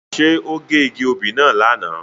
Nje o ge igi obí náa lana?